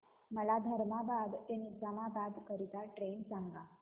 मला धर्माबाद ते निजामाबाद करीता ट्रेन सांगा